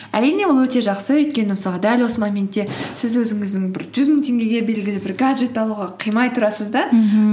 әрине ол өте жақсы өйткені мысалға дәл осы моментте сіз өзіңіздің бір жүз мың теңгеге белгілі бір гаджет алуға қимай тұрасыз да мхм